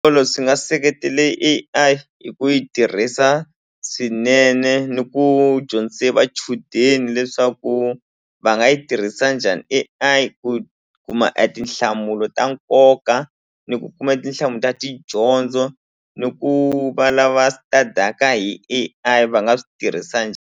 swi nga seketele A_I hi ku yi tirhisa swinene ni ku dyondzise vachudeni leswaku va nga yi tirhisa njhani A_I ku kuma etinhlamulo ta nkoka ni ku kuma tinhlamulo ta tidyondzo ni ku va lava study-aka hi A_I va nga swi tirhisa .